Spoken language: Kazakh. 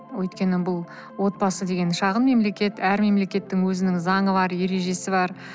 өткені бұл отбасы деген шағын мемлекет әр мемелекеттің өзінің заңы бар ережесі бар